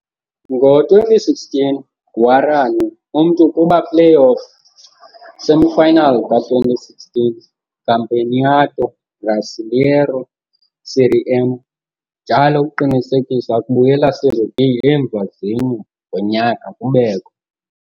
Ngo-2016, Guarani umntu kuba playoff semifinals ka - 2016 Campeonato Brasileiro Série M, njalo ukuqinisekisa kubuyela Serie B emva zine --- -ngonyaka kubekho.